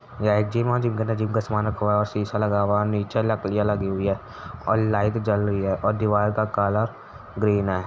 यह एक जिम है। जिम के अंदर जिम का सामान रखा हुआ है और शीशा लगा हुआ और नीचे लकड़ियाँ लगी हुई हैं और लाइट जल रही है और दीवार का कलर ग्रीन है।